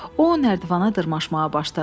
O nərdivana dırmaşmağa başladı.